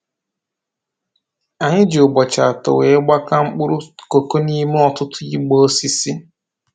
Anyị ji ụbọchị atọ wee gbakaa mkpụrụ koko n'ime ọtụtụ igbe osisi